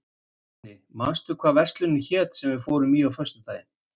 Húni, manstu hvað verslunin hét sem við fórum í á föstudaginn?